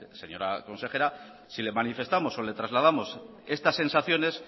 señora consejera si le manifestamos o le trasladamos estas sensaciones